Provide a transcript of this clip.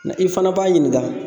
Nka i fana b'a ɲininka